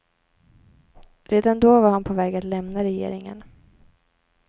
Redan då var han på väg att lämna regeringen.